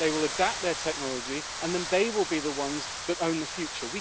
They will adapt their technology and then they will be the ones that own the future.